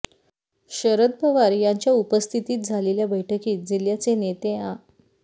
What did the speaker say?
शरद पवार यांच्या उपस्थितीत झालेल्या बैठकीस जिल्ह्याचे नेते आ